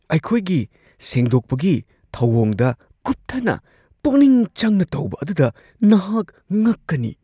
ꯑꯩꯈꯣꯏꯒꯤ ꯁꯦꯡꯗꯣꯛꯄꯒꯤ ꯊꯧꯑꯣꯡꯗ ꯀꯨꯞꯊꯅ ꯄꯨꯛꯅꯤꯡ ꯆꯪꯅ ꯇꯧꯕ ꯑꯗꯨꯗ ꯅꯍꯥꯛ ꯉꯛꯀꯅꯤ ꯫